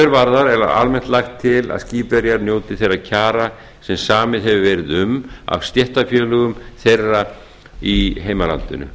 varðar er almennt lagt til að skipverjar njóti þeirra kjara sem samið hefur verið um af stéttarfélögum þeirra í heimalandinu